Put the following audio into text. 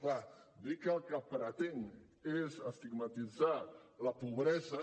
clar dir que el que pretenc és estigmatitzar la pobresa